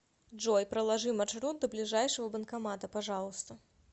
джой проложи маршрут до ближайшего банкомата пожалуйста